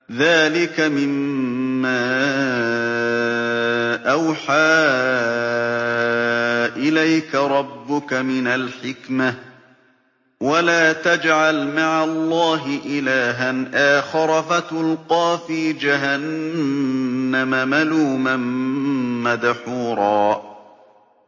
ذَٰلِكَ مِمَّا أَوْحَىٰ إِلَيْكَ رَبُّكَ مِنَ الْحِكْمَةِ ۗ وَلَا تَجْعَلْ مَعَ اللَّهِ إِلَٰهًا آخَرَ فَتُلْقَىٰ فِي جَهَنَّمَ مَلُومًا مَّدْحُورًا